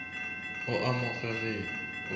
o a mo gegea o